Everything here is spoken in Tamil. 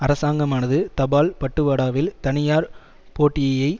அரசாங்கமானது தபால் பட்டுவாடாவில் தனியார் போட்டியை